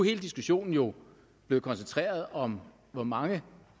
hele diskussionen jo blevet koncentreret om hvor mange